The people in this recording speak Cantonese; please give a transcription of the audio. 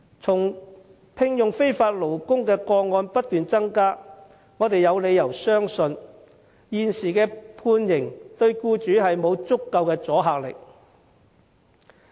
從聘用非法勞工的個案不斷增加，我們有理由相信現時的判刑對僱主沒有足夠的阻嚇力。